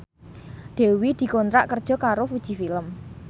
Dewi dikontrak kerja karo Fuji Film